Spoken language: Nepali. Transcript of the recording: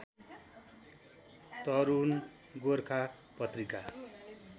तरूण गोर्खा पत्रिका